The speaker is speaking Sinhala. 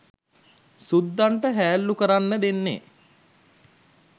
සුද්දන්ට හැල්ලු කරන්න දෙන්නේ.